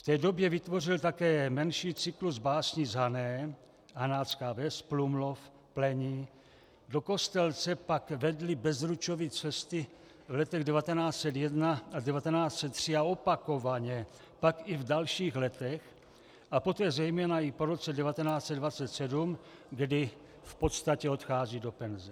V té době vytvořil také menší cyklus básní z Hané, Hanácká ves, Plumlov, Plení, do Kostelce pak vedly Bezručovy cesty v letech 1901 a 1903 a opakovaně pak i v dalších letech a poté zejména i po roce 1927, kdy v podstatě odchází do penze.